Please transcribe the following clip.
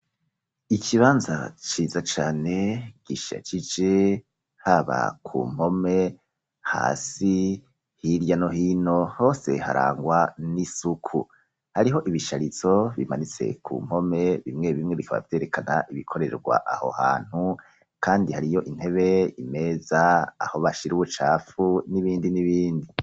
Ikibanza ciza cane, gishakice haba ku mpome, hasi, hirya no hino, hose harangwa n'isuku hariho ibisharizo bimanitse ku mpome, bimwe bimwe bikaba biterekana ibikorerwa aho hantu, kandi hariyo intebe, imeza aho bashira ubucapfu n'ibindi n'ibindi.